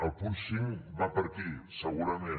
el punt cinc va per aquí segurament